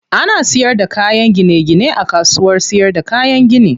Ana siyar da kayan gine gine a kasuwar siyarda kayan gini.